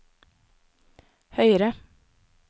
høyere